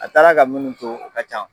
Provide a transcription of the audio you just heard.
A taara ka munnu to u ka can.